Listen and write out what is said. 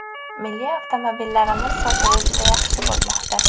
Milliy avtomobillarimiz sotuvi juda yaxshi bo‘lmoqda.